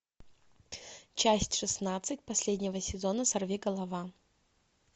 часть шестнадцать последнего сезона сорвиголова